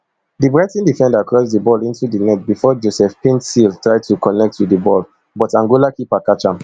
di brighton defender cross di ball into di net bifor joseph paintsil try to connect wit di ball but angola keeper catch am